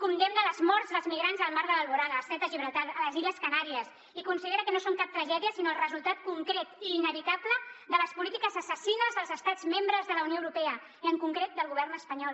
condemna les morts dels migrants al mar de l’alboran a l’estret de gibraltar a les illes canàries i considera que no són cap tragèdia sinó el resultat concret i inevitable de les polítiques assassines dels estats membres de la unió europea i en concret del govern espanyol